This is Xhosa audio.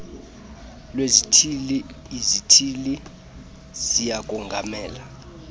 lwezithili izithili ziyakongamela